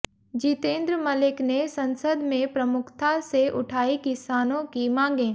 जितेन्द्र मलिक ने संसद में प्रमुखता से उठायीं किसानों की मांगें